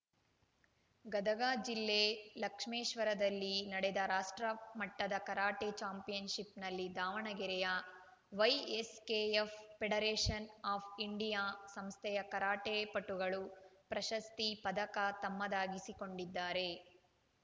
ಗದಗ ಜಿಲ್ಲೆ ಲಕ್ಷ್ಮೇಶ್ವರದಲ್ಲಿ ನಡೆದ ರಾಷ್ಟ್ರಮಟ್ಟದ ಕರಾಟೆ ಚಾಂಪಿಯನ್‌ ಶಿಪ್‌ನಲ್ಲಿ ದಾವಣಗೆರೆಯ ವೈಎಸ್‌ಕೆಎಫ್‌ ಫೆಡರೇಷನ್‌ ಆಫ್‌ ಇಂಡಿಯಾ ಸಂಸ್ಥೆಯ ಕರಾಟೆ ಪಟುಗಳು ಪ್ರಶಸ್ತಿ ಪದಕ ತಮ್ಮದಾಗಿಸಿ ಕೊಂಡಿದ್ದಾರೆ